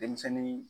Denmisɛnnin